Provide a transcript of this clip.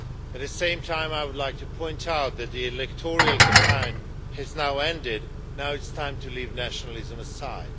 At the same time, I would like to point out that the electoral campaign has now ended and it is time to leave nationalism aside.